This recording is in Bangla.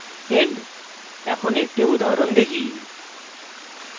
end এখন একটি উদাহরণ দেখি